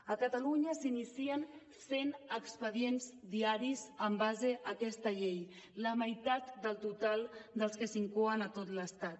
a catalunya s’inicien cent expedients diaris en base a aquesta llei la meitat del total dels que s’incoen a tot l’estat